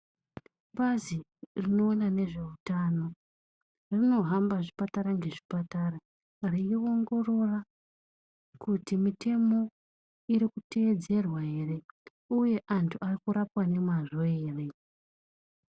Bazi rinoona nezveutano rinohamba zvipatara ngezvipatara reiongorora kuti mitemo iri kuteedzerwa ere. Uye antu arikurapwa ngemazvo ere.